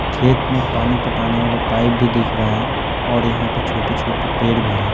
खेत में पानी पटाने वाला पाइप भी दिख रहा है और यहाँ पर छोटे-छोटे पेड़ भी हैं।